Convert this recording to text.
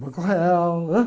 Banco Real, né?